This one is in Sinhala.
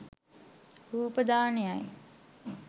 රූප දානයයි.